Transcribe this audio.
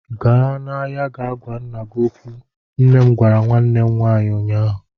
Gaa n'ahịa ga gwa nna gị okwu! Nne m gwara nwanne m nwaanyi ụnyaahụ.